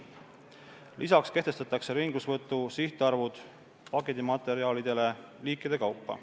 Lisaks kehtestatakse ringlussevõtu sihtarvud pakendimaterjalidele liikide kaupa.